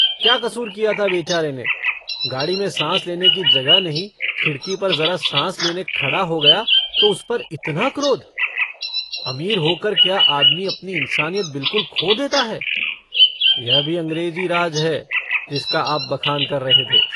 क्या कसूर किया था बेचारे ने? गाड़ी में साँस लेने की जगह नहीं। खिड़की पर जरा साँस लेने खड़ा हो गया तो उस पर इतना क्रोध? अमीर होकर क्या आदमी अपनी इन्सानियत बिलकुल खो देता है? यह भी अंग्रेजी राज है जिसका आप बखान कर रहे थे।